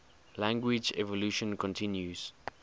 language evolution continues